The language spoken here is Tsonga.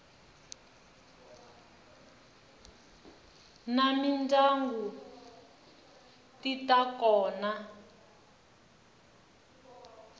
ta mindyangu ti ta kota